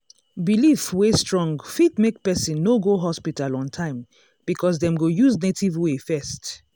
belief wey strong fit make person no go hospital on time because dem go use native way first.